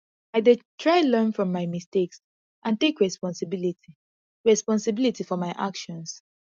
i dey try learn from my mistakes and take responsibility responsibility for my actions